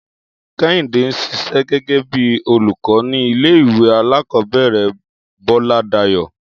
Kéhìndé n sisé gégé bí olùkó ní ilé ìwé alákòóbèrè Bóládayò